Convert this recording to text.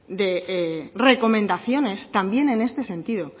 de recomendaciones también en este sentido